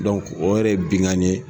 o yɛrɛ ye binnkanni ye